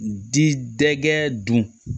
Di dɛgɛ dun